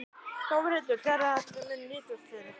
Þórhildur: Sérðu að þetta muni nýtast þér eitthvað?